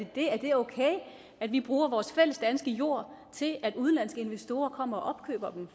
okay at vi bruger vores fælles danske jord til at udenlandske investorer kommer